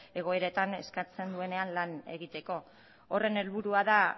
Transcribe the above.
egoeretan eskatzen duenean lan egiteko horren helburua da